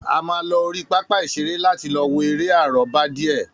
A máa lọ orí pápá ìṣeré láti lọ wo eré àrọ́bá díè